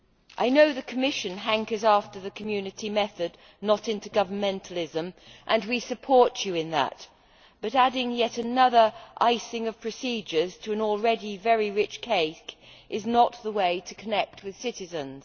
I know the Commission hankers after the Community method, not intergovernmentalism, and we support you in that, but adding yet another icing of procedures to an already very rich cake is not the way to connect with citizens.